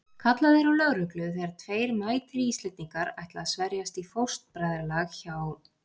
Kallað er á lögreglu þegar tveir mætir Íslendingar ætla að sverjast í fóstbræðralag hjá